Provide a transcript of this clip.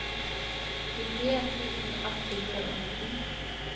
nittien tusen ett hundre og nitten